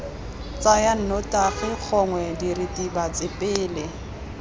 tsaya nnotagi gongwe diritibatsi pele